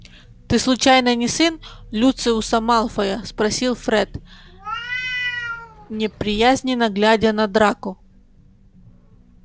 ты случайно не сын люциуса малфоя спросил фред неприязненно глядя на драко